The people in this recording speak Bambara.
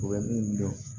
U bɛ min dɔn